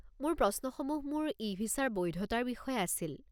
মোৰ প্ৰশ্নসমূহ মোৰ ই-ভিছাৰ বৈধতাৰ বিষয়ে আছিল।